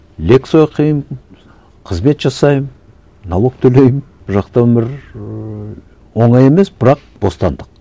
лекция оқимын қызмет жасаймын налог төлеймін бұл жақтан бір ыыы оңай емес бірақ бостандық